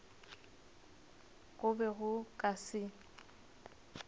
go be go ka se